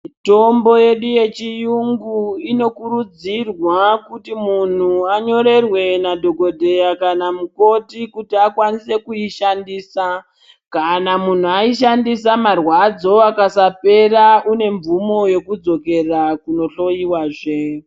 Mitombo yedu yechiyungu inokurudzirwa kuti munhu anyorerwe nadhokodheya kana mukoti kuti akwanise kuishandisa kana munhu aishandisa marwadzo akasapera kune mvumo yekudzokera kuno hloyiwazve.